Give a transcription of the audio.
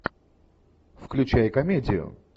включай комедию